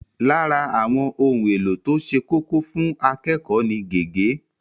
Lára àwọn ohun èlò tó ṣe kókó fún akẹ́kọ̀ọ́ ni gègé.